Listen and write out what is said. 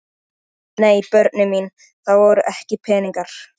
Eftir þetta varð ekkert samt við höfnina aftur.